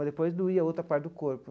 Mas depois doía a outra parte do corpo.